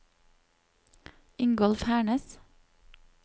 Ingolf Hernes